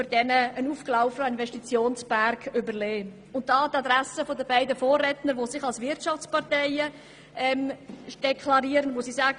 Nun eine Anmerkung an die Adresse der beiden Vorredner, deren Parteien sich als Wirtschaftsparteien verstehen: